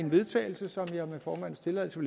vedtagelse som jeg med formandens tilladelse